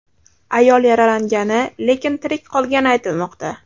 Ayol yaralangani, lekin tirik qolgani aytilmoqda.